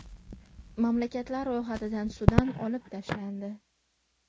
Mamlakatlar ro‘yxatidan Sudan olib tashlandi.